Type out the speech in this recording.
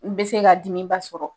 N be se ka dimiba sɔrɔ.